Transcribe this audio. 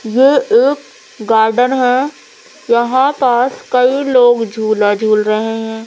ये एक गार्डन है यहां पास कई लोग झूला झूल रहे हैं।